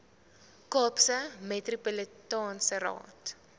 kaapse metropolitaanse raad